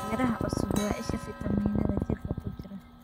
Miraha cusubi waa isha fiitamiinnada jirka ku jira.